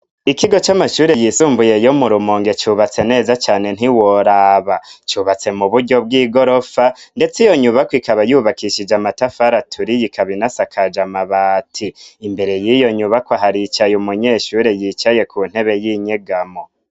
Ikigo c'amashuri yisumbuye yo mu rumonge cubatse neza cane ntiworaba cubatse mu buryo bw'i gorofa, ndetse iyo nyubako ikaba yubakishije amatafara aturiye ikaba Inasakaje amabati, imbere y'iyo nyubako haricaye umunyeshuri yicaye ku ntebe y'inyegamo.